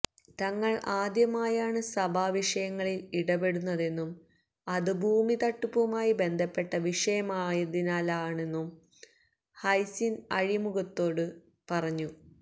തങ്ങള് ആദ്യമായാണ് സഭാ വിഷയങ്ങളില് ഇടപെടുന്നതെന്നും അത് ഭൂമി തട്ടിപ്പുമായി ബന്ധപ്പെട്ട വിഷയമായതിനാലാണെന്നും ഹൈസിന്ത് അഴിമുഖത്തോട് പറഞ്ഞു